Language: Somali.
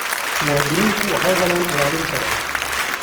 Muwaadiniintu waxay helaan ilaalin sharci.